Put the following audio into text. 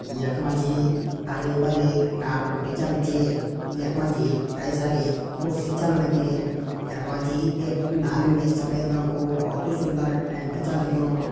यख मा जी हरी भरी टाटपट्टी छ बिछीं यख मा जी कई सारी कुर्सी छन लगीं यख मा जी एक नारंगी सफ़ेद रंग कू बहोत ही सुन्दर टेंट छ लगियों |